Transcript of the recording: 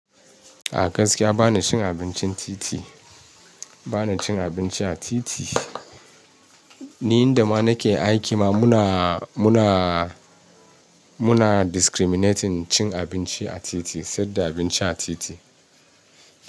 A gaskiya bana cin abincin titi, bana cin abinci a titi. Ni inda ma nake aiki ma muna, muna, muna discriminating cin abinci a titi, sai da abinci a titi.